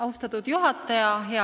Austatud juhataja!